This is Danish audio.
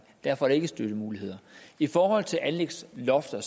derfor er der ikke støttemuligheder i forhold til anlægslofter